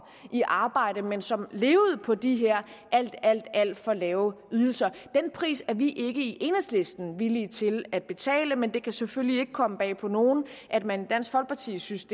i arbejde men som levede på de her alt alt alt for lave ydelser den pris er vi i enhedslisten ikke villige til at betale men det kan selvfølgelig ikke komme bag på nogen at man i dansk folkeparti synes